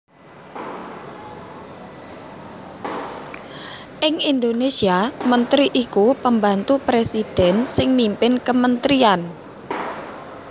Ing Indonésia mentri iku pembantu presidhèn sing mimpin kementrian